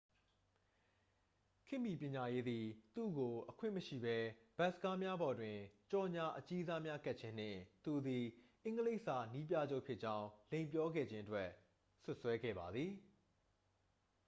ခေတ်မီပညာရေးသည် သူ့ကို အခွင့်မရှိဘဲ ဘတ်စ်ကားများပေါ်တွင် ကြော်ငြာအကြီးစားများကပ်ခြင်းနှင့် သူသည် အင်္ဂလိပ်စာနည်းပြချုပ်ဖြစ်ကြောင်း လိမ်ပြောခဲ့ခြင်းအတွက် စွပ်စွဲခဲ့ပါသည်